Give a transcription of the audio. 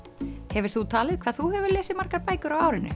hefur þú talið hvað þú hefur lesið margar bækur á árinu